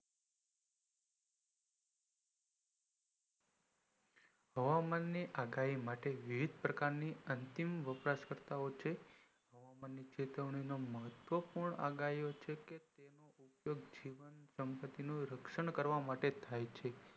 હવામાન ની આગાહી માટે વિવિધ પ્રકાર ની અંતિમ વપરાશકર્તા છે ચેતાવણીનું મહત્વ પૂર્ણ આગાહી છેકે જીવ સંપત્તિ નું રાશન કરવું માટે થાયછે